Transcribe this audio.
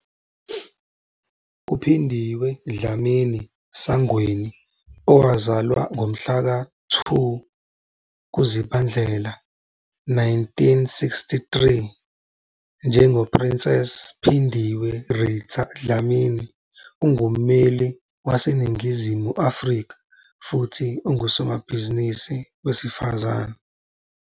UPhindiwe Dlamini-Sangweni, owazalwa ngomhlaka 2 kuZibandlela 1963, njengoPrincess Phindiwe Rita Dlamini, ungummeli waseNingizimu Afrika futhi ungusomabhizinisi wesifazane.